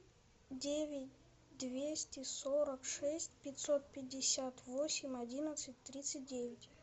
девять двести сорок шесть пятьсот пятьдесят восемь одиннадцать тридцать девять